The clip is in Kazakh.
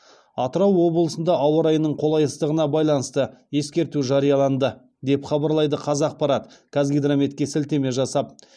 атырау облысында ауа райының қолайсыздығына байланысты ескерту жарияланды деп хабарлайды қазақпарат қазгидрометке сілтеме жасап